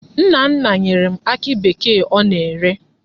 Nna nna nyere m akị bekee ọ na-ere.